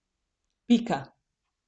Pika.